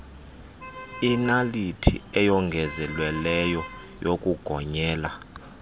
inaliti eyongezelelweyo yokugonyela